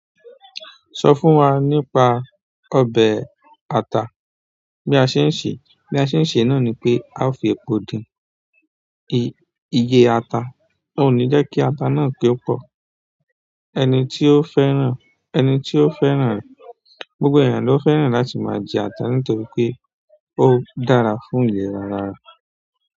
Sọ fún wa nípa ọbẹ̀ ata. Bí a ṣe ń ṣe, bí a ṣe ń ṣe náà ni pé a ó fi epo dín ìyẹ́ ata. Ó ní jẹ́ kí ata náà ki o pọ̀. Ẹni tí ó fẹ́ràn, ẹni tí ó fẹ́ràn rẹ̀, gbogbo ènìyàn ló fẹ́ràn láti máa jẹ ata nítorí pé ó dára fún ìlera ara.